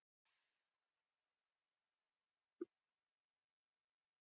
Aðstæður við upphleðslu gosefna við gos í sjó eru um margt svipaðar og undir jökli.